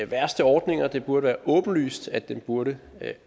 værste ordninger og det burde være åbenlyst at den burde